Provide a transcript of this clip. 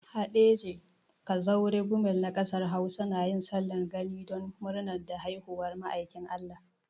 Haɗeja, Kazaure, Gumel na kasar Hausa na yin sallar gani don murna da haihuwar ma'aikin Allah.